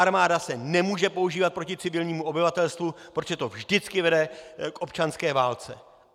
Armáda se nemůže používat proti civilnímu obyvatelstvu, protože to vždycky vede k občanské válce.